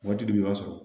Waati dun i b'a sɔrɔ